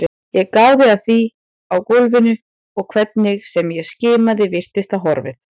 Ég gáði að því á gólfinu og hvernig sem ég skimaði virtist það horfið.